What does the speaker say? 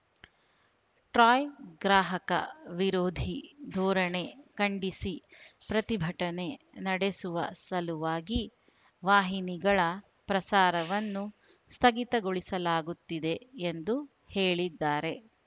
TRAI ಗ್ರಾಹಕ ವಿರೋಧಿ ಧೋರಣೆ ಖಂಡಿಸಿ ಪ್ರತಿಭಟನೆ ನಡೆಸುವ ಸಲುವಾಗಿ ವಾಹಿನಿಗಳ ಪ್ರಸಾರವನ್ನು ಸ್ಥಗಿತಗೊಳಿಸಲಾಗುತ್ತಿದೆ ಎಂದು ಹೇಳಿದ್ದಾರೆ